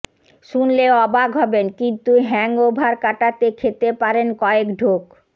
শুনলে অবাক হবেন কিন্তু হ্যাংওভার কাটাতে খেতে পারেন কয়েক ঢোক